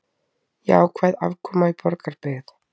Jákvæð afkoma í Borgarbyggð